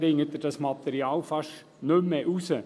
Da bringt man dieses Material fast nicht mehr heraus.